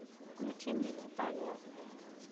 включи мне титания